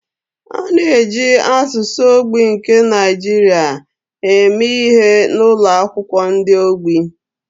A na-eji asụsụ ogbi nke Nigeria eme ihe n’ụlọ akwụkwọ ndị ogbu.